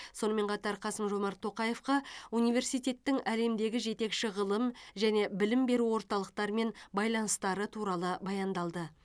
сонымен қатар қасым жомарт тоқаевқа университеттің әлемдегі жетекші ғылым және білім беру орталықтарымен байланыстары туралы баяндалды